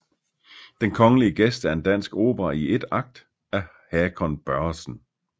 Den Kongelige Gæst er en dansk opera i 1 akt af Hakon Børresen